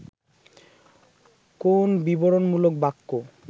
কোন বিবরণমূলক বাক্য